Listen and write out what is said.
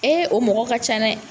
o mɔgɔ ka ca.